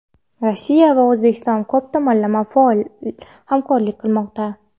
Rossiya va O‘zbekiston ko‘p tomonlama faol hamkorlik qilmoqda.